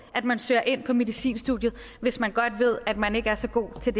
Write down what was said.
at man søger ind på medicinstudiet hvis man godt ved at man ikke er så god til